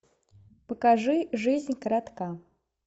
покажи жизнь коротка